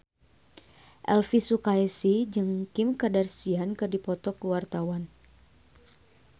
Elvy Sukaesih jeung Kim Kardashian keur dipoto ku wartawan